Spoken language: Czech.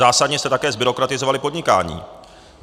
Zásadně jste také zbyrokratizovali podnikání.